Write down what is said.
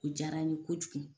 O diyara n ye kojugu.